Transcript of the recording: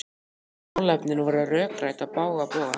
Málefnin voru rökrædd á bága bóga.